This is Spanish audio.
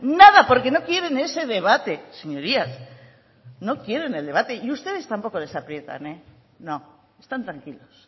nada porque no quieren ese debate señorías no quieren el debate y ustedes tampoco les aprietan no están tranquilos